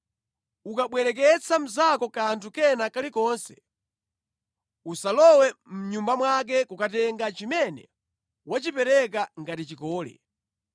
Ukabwereketsa mnzako kanthu kena kalikonse, usalowe mʼnyumba mwake kukatenga chimene wachipereka ngati chikole.